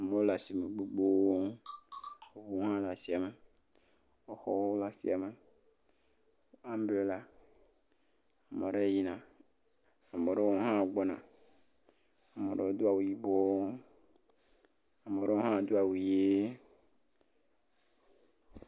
Amewo le asime gbogbo, ŋuwo hã le asia me. Xɔwo le asia me, ambrela, ame aɖewo yina, ame aɖewo hã gbɔna. Ame aɖewo do awu yibɔ. Ame aɖewo hã do awu ʋi.